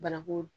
Bananku